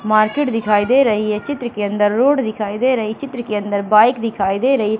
market दिखाई दे रही है चित्र के अंदर रोड दिखाई दे रही चित्र के अंदर बाइक दिखाई दे रही--